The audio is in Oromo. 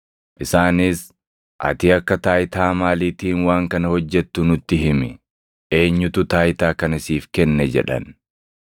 Isaanis, “Ati akka taayitaa maaliitiin waan kana hojjettu nutti himi. Eenyutu taayitaa kana siif kenne” jedhan.